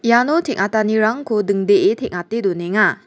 iano teng·atanirangko dingdee teng·ate donenga.